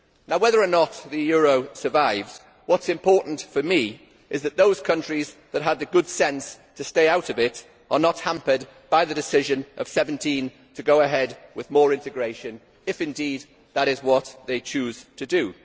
Whether or not the euro survives, what is important for me is that those countries that had the good sense to stay out of it are not hampered by the decision of 17 to go ahead with more integration, if indeed that is what they choose to do.